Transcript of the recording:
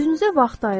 Özünüzə vaxt ayırın.